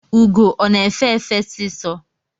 Ụgọ ọ na-efe efe sisọ?